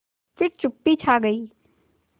फिर चुप्पी छा गई